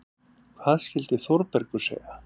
Hvað skyldi Þórbergur segja?